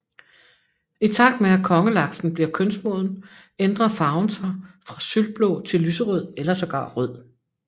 I takt med at Kongelaksen bliver kønsmoden ændre farven sig fra sølvblå til lyserød eller sågar rød